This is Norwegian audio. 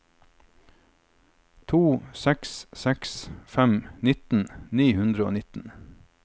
tre seks seks fem nittien ni hundre og nitten